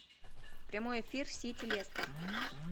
прямой эфир сити лестер